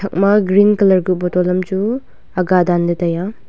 thak ma green colour kuh bottle am chu aga danle tai aa.